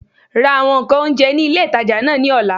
Ra àwọn ǹkan oúnjẹ ní ilé ìtajà náà ní ọ̀la